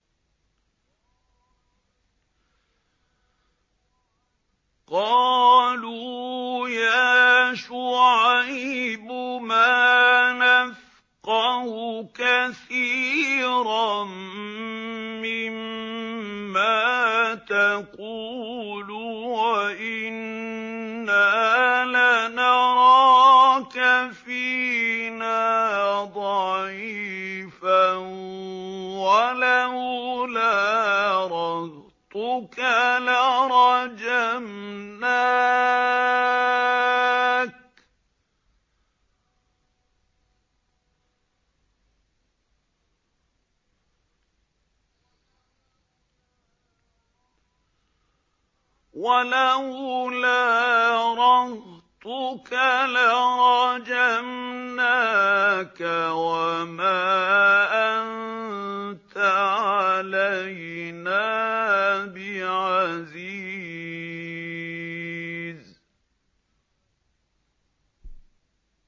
قَالُوا يَا شُعَيْبُ مَا نَفْقَهُ كَثِيرًا مِّمَّا تَقُولُ وَإِنَّا لَنَرَاكَ فِينَا ضَعِيفًا ۖ وَلَوْلَا رَهْطُكَ لَرَجَمْنَاكَ ۖ وَمَا أَنتَ عَلَيْنَا بِعَزِيزٍ